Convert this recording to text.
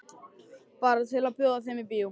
Bara til að bjóða þeim í bíó.